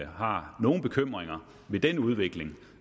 har nogen bekymringer ved den udvikling